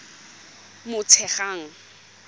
motshegang